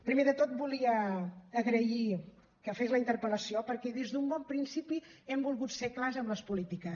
primer de tot volia agrair que fes la interpel·lació perquè des d’un bon principi hem volgut ser clars amb les polítiques